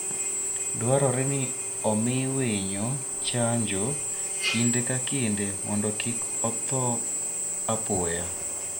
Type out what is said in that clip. Dwarore ni omi winyo chanjo kinde ka kinde mondo kik otho apoya.